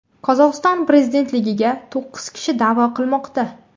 Qozog‘iston prezidentligiga to‘qqiz kishi da’vo qilmoqda.